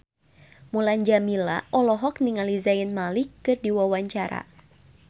Mulan Jameela olohok ningali Zayn Malik keur diwawancara